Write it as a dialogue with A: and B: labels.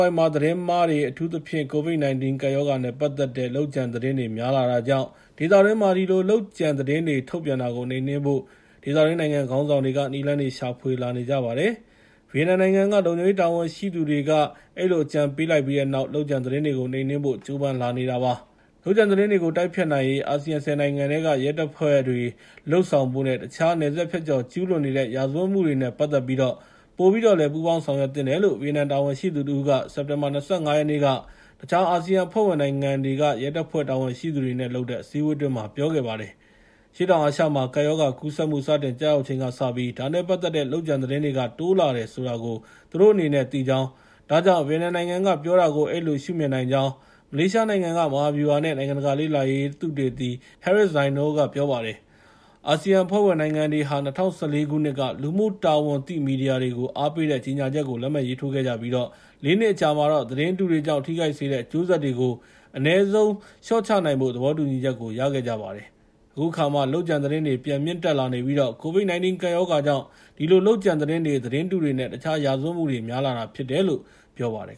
A: ဝိုက်မှာ သတင်းမှားတွေ အထူးသဖြင့် ကိုဗစ် ၁၉ ကပ်ရောဂါနဲ့ ပတ်သက်တဲ့ လုပ်ကြံသတင်းတွေ များလာတာကြောင့် ဒေသတွင်းမှာ ဒီလို လုပ်ကြံသတင်းတွေ ထုတ်ပြန်တာကို နှိမ်နှင်းဖို့ ဒေသတွင်းနိုင်ငံခေါင်းဆောင်တွေက နည်းလမ်းတွေရှာဖွေလာနေကြပါတယ်။ ဗီယက်နမ်နိုင်ငံက လုံခြုံရေးတာဝန်ရှိသူတွေက အဲဒီလို အကြံပေးလိုက်ပြီးတဲ့နောက်မှာ လုပ်ကြံသတင်းတွေကို နှိမ်နှင်းဖို့ ကြိုးပမ်းလာနေတာပါ။ လုပ်ကြံသတင်းတွေကို တိုက်ဖျက်နိုင်ရေး အာဆီယံ ၁၀ နိုင်ငံက ရဲတပ်ဖွဲ့တွေ လုပ်ဆောင်ဖို့နဲ့ တခြား နယ်စပ်ဖြတ်ကျော်ကျူးလွန်နေတဲ့ ရာဇဝတ်မှုတွေနဲ့ ပတ်သက်ပြီးတော့ ပိုပြီးတော့ ပူးပေါင်းဆောင်ရွက်သင့်တယ်လို့ ဗီယက်နမ်တာဝန်ရှိသူတဦးက စက်တင်ဘာ ၂၅ ရက်နေ့က တခြားအာဆီယံအဖွဲ့ဝင်နိုင်ငံတွေက ရဲတပ်ဖွဲ့ တာဝန်ရှိသူတွေနဲ့လုပ်တဲ့ အစည်းအဝေးအတွင်း ပြောခဲ့ပါတယ်။ အရှေ့တောင်အာရှမှာ ကပ်ရောဂါကူးစက်မှု စတင်ကျရောက်ချိန်ကစပြီး ဒါနဲ့ပတ်သက်တဲ့ လုပ်ကြံသတင်းတွေက တိုးလာတယ်ဆိုတာကို သူတို့အနေနဲ့ သိကြောင်း၊ ဒါကြောင့် ဗီယက်နမ်နိုင်ငံကပြောတာကို အဲဒီလို ရှုမြင်နိုင်ကြောင်း မလေးရှားနိုင်ငံက မဟာဗျူဟာနဲ့ နိုင်ငံတကာလေ့လာရေးဌာန သုသေတီ Harris Zainul က ပြောပါတယ်။ အာဆီယံအဖွဲ့ဝင်နိုင်ငံတွေဟာ ၂၀၁၄ ခုနှစ်က လူမှုတာဝန်သိမီဒီယာတွေကို အားပေးတဲ့ ကြေငြာချက်ကို လက်မှတ်ရေးထိုးခဲ့ကြပြီး ၄ နှစ်အကြာမှာတော့ သတင်းတုတွေကြောင့် ထိခိုက်စေတဲ့ အကျိုးဆက်တွေကို အနည်းဆုံးလေ ျှာ့ချနိုင်ဖို့ သဘောတူညီချက်ကို ရခဲ့ကြပါတယ်။ အခုအခါမှာတော့ လုပ်ကြံသတင်းတွေ ပြန်မြင့်တက်လာနေပြီး ကိုဗစ် ၁၉ ကပ်ရောဂါကြောင့် ဒီလို လုပ်ကြံသတင်းတွေ၊ သတင်းတုတွေနဲ့ တခြား ရာဇဝတ်မှုတွေ များလာတာဖြစ်တယ်လို့ ပြောပါတယ်